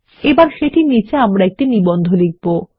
এবং সেটির নীচে আমরা একটি নিবন্ধ লিখব